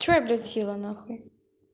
что я блядь села на хуй